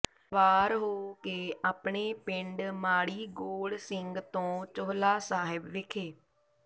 ਸਵਾਰ ਹੋ ਕੇ ਆਪਣੇ ਪਿੰਡ ਮਾੜੀ ਗੋੜ ਸਿੰਘ ਤੋ ਚੋਹਲਾ ਸਾਹਿਬ ਵਿਖੇ